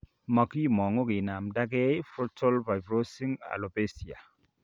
Magimangu kinamnda gee Frontal fibrosing alopecia